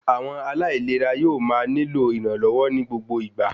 Àwọn aláìlera yóò máa nílò ìrànlọ́wọ́ ní gbogbo ìgbà